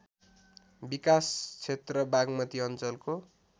विकासक्षेत्र बाग्मती अञ्चलको